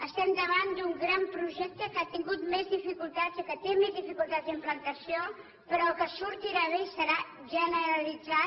estem davant d’un gran projecte que ha tingut més dificultats i que té més dificultats d’im plantació però que sortirà bé i serà generalitzat